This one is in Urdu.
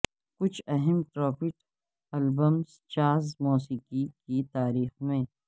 کچھ اہم ٹراپیٹ ایلبمز جاز موسیقی کی تاریخ میں